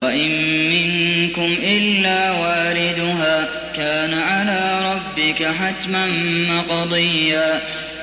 وَإِن مِّنكُمْ إِلَّا وَارِدُهَا ۚ كَانَ عَلَىٰ رَبِّكَ حَتْمًا مَّقْضِيًّا